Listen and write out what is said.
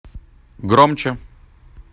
громче